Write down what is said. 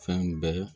Fɛn bɛɛ